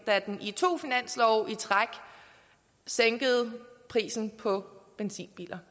da den i to finanslove i træk sænkede prisen på benzinbiler